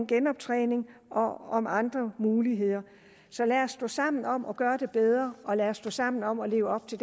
genoptræning og og andre muligheder så lad os stå sammen om at gøre det bedre og lad os stå sammen om at leve op til